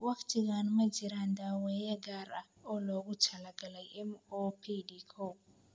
Waqtigaan ma jiraan daawayn gaar ah oo loogu talagalay MOPD koow.